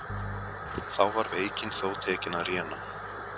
Þá var veikin þó tekin að réna.